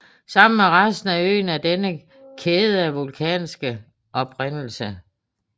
Sammen med resten af øen er denne kæde af vulkansk oprindelse